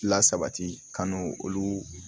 Lasabati kan n'o olu